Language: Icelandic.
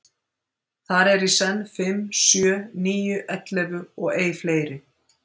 Þar eru í senn fimm, sjö, níu, ellefu og ei fleiri.